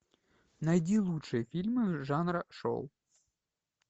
найди лучшие фильмы жанра шоу